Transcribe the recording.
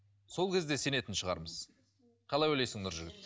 сол кезде сенетін шығармыз қалай ойлайсың нұржігіт